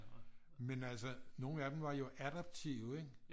Men altså nogen af dem var jo adaptive ikke